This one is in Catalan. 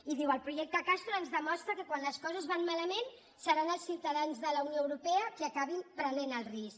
i diu el projecte castor ens demostra que quan les coses van malament seran els ciutadans de la unió europea qui acabin prenent el risc